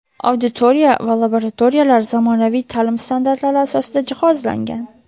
Auditoriya va laboratoriyalar zamonaviy ta’lim standartlari asosida jihozlangan.